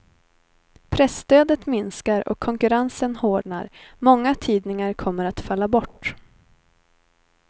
Presstödet minskar och konkurrensen hårdnar, många tidningar kommer att falla bort.